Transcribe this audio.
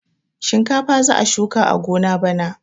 Shinkafa za a shuka a gona bana.